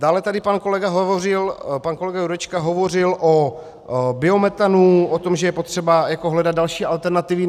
Dále tady pan kolega Jurečka hovořil o biometanu, o tom, že je potřeba hledat další alternativy.